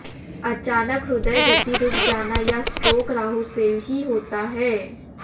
अचानक हृदय गति रुक जाना या स्ट्रोक राहू से ही होता है